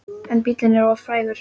En bíllinn er of frægur.